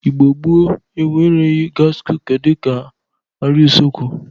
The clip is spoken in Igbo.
Igbo gboo enwereghi gas cuka dịka arịa usekwu.